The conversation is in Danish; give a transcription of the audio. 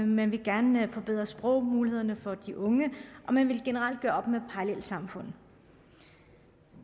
man vil gerne forbedre sprogmulighederne for de unge og man vil generelt gøre op med parallelsamfundene